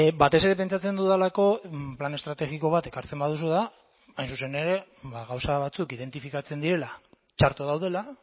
batez ere pentsatzen dudalako plan estrategiko bat ekartzen baduzu da hain zuzen ere gauza batzuk identifikatzen direla txarto daudela